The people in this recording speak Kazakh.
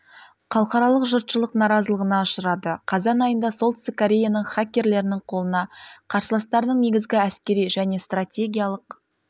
ъхалықаралық жұртшылық наразылығына ұшырады қазан айында солтүстік кореяның хакерлерінің қолына қарсыластарының негізгі әскери және стратегиялық